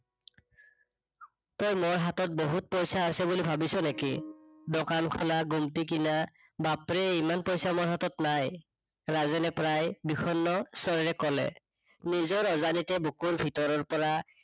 তই মোৰ হাতত বহুত পইছা আছে বুলি ভাবিছ নেকি? দোকান খোলা, গুমটি কিনা। বাপৰে ইমান পইছা মোৰ হাতত নাই। ৰাজেনে প্ৰায় বিষন্ন স্বৰেৰে কলে। নিজৰ অজানিতে বুকুৰ ভিতৰৰ পৰা,